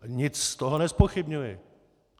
Nic z toho nezpochybňuji.